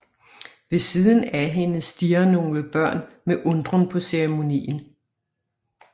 Ved siden af hende stirrer nogle børn med undren på ceremonien